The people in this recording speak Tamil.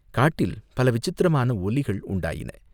காட்டில் பல விசித்திரமான ஒலிகள் உண்டாயின.